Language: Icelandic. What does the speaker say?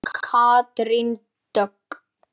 Þín Katrín Dögg.